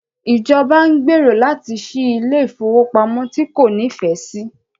Ìjọba ń gbèrò láti ṣí ilé ìfowópamọ́ tí kò nífẹ̀ẹ́ sí.